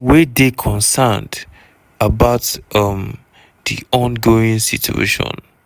we dey concerned about um di ongoing situation.